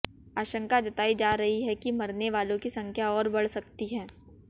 आशंका जताई जा रही है कि मरने वालों की संख्या और बढ़ सकती है